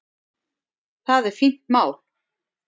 Það er fínt mál.